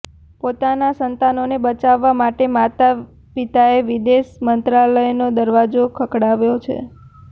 પોતાના સંતાનોને બચાવવા માટે માતા પિતાએ વિદેશ મંત્રાલયનો દરવાજો ખખડાવ્યો છે